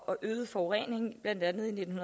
og øget forureningen blandt andet i nitten